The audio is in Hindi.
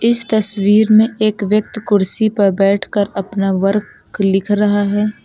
इस तस्वीर में एक व्यक्ति कुर्सी पर बैठ कर अपना वर्क लिख रहा है।